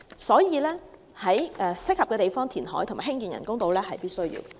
所以，在適合的地方填海和興建人工島是必需的。